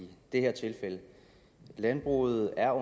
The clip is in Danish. at landbruget er